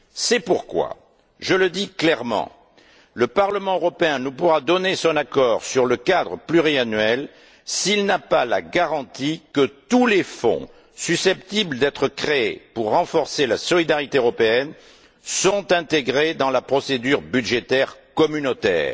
C'est pourquoi, je le dis clairement, le Parlement européen ne pourra donner son accord sur le cadre pluriannuel s'il n'a pas la garantie que tous les fonds susceptibles d'être créés pour renforcer la solidarité européenne sont intégrés dans la procédure budgétaire communautaire.